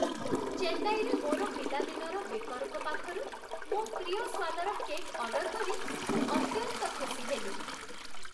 ଚେନ୍ନାଇରେ ମୋର ପିଲାଦିନର ବେକର୍‌ଙ୍କ ପାଖରୁ ମୋ ପ୍ରିୟ ସ୍ଵାଦର କେକ୍ ଅର୍ଡର କରି ମୁଁ ଅତ୍ୟନ୍ତ ଖୁସି ହେଲି।